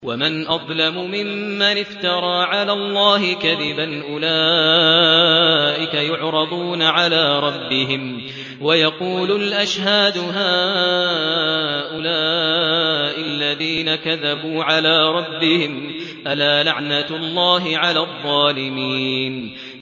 وَمَنْ أَظْلَمُ مِمَّنِ افْتَرَىٰ عَلَى اللَّهِ كَذِبًا ۚ أُولَٰئِكَ يُعْرَضُونَ عَلَىٰ رَبِّهِمْ وَيَقُولُ الْأَشْهَادُ هَٰؤُلَاءِ الَّذِينَ كَذَبُوا عَلَىٰ رَبِّهِمْ ۚ أَلَا لَعْنَةُ اللَّهِ عَلَى الظَّالِمِينَ